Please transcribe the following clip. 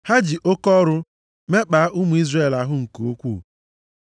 Ha ji oke ọrụ mekpaa ụmụ Izrel ahụ nke ukwuu,